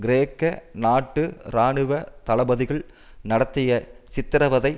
கிரேக்க நாட்டு இராணுவ தளபதிகள் நடத்திய சித்திரவதை